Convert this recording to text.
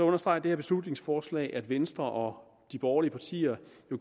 understreger det her beslutningsforslag at venstre og de borgerlige partier